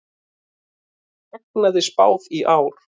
Hagnaði spáð í ár